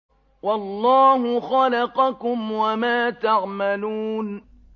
وَاللَّهُ خَلَقَكُمْ وَمَا تَعْمَلُونَ